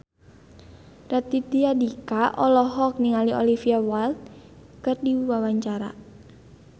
Raditya Dika olohok ningali Olivia Wilde keur diwawancara